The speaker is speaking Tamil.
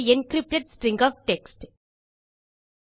ஒரு என்கிரிப்டட் ஸ்ட்ரிங் ஒஃப் டெக்ஸ்ட்